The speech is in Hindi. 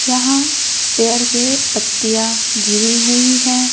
यहां पेड़ के पत्तियां गिरी हुईं हैं।